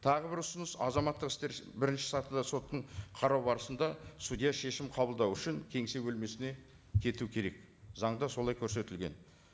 тағы бір ұсыныс азаматтық істер бірінші сатыда соттың қарауы барысында судья шешім қабылдау үшін кеңсе бөлмесіне кету керек заңда солай көрсетілген